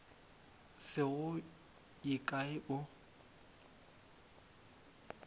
se go ye kae o